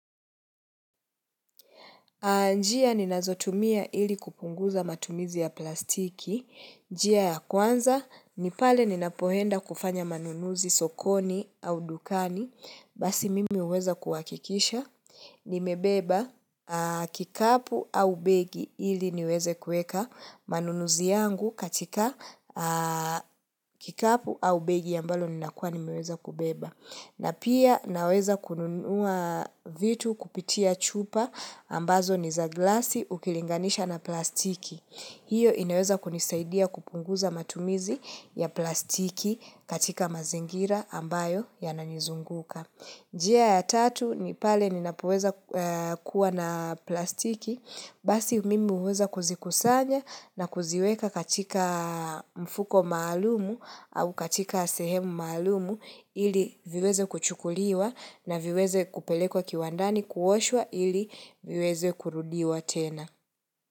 Njia ninazotumia ili kupunguza matumizi ya plastiki. Njia ya kwanza, nipale ninapoenda kufanya manunuzi sokoni au dukani. Basi mimi huweza kuhakikisha. Nimebeba kikapu au begi ili niweze kuweka manunuzi yangu katika kikapu au begi ambalo ninakuwa nimeweza kubeba. Na pia naweza kununua vitu kupitia chupa ambazo niza glasi ukilinganisha na plastiki. Hiyo inaweza kunisaidia kupunguza matumizi ya plastiki katika mazingira ambayo yananizunguka. Njia ya tatu ni pale ni napoweza kuwa na plastiki, basi mimi huweza kuzikusanya na kuziweka katika mfuko maalumu au katika sehemu maalumu ili viweze kuchukuliwa na viweze kupelekwa kiwandani kuwashwa ili viweze kurudiwa tena.